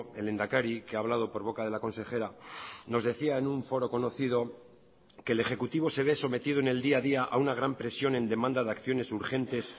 el lehendakari que ha hablado por boca de la consejera nos decía en un foro conocido que el ejecutivo se ve sometido en el día a día a una gran presión en demanda de acciones urgentes